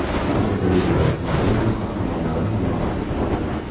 Fotogalereya: Madrid o‘z qahramonlarini munosib kutib oldi.